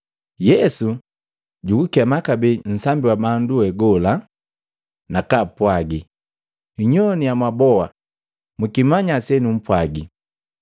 Yesu jugukema kabee nsambi wa bandu we gola, nakaapwagi, “Nnyogwana mwaboa, mukimanya senumpwagi.